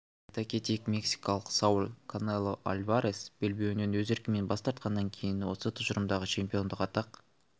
айта кетейік мексикалық сауль канело альварес белбеуінен өз еркімен бас тартқаннан кейін осы тұжырымдағы чемпиондық атақ